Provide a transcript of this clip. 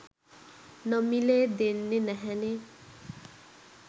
නොමිලේ දෙන්නෙ නැහැනෙ.